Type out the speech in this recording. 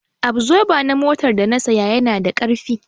Abzoba na motar da na saya yana da ƙarfi